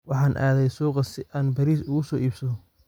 Waxaan aadayaa suuqa si aan bariis uga soo iibsado.